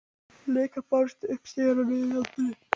Leikar bárust upp stigana og niður í anddyri.